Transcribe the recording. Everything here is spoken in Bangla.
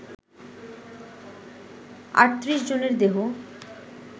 ৩৮ জনের দেহ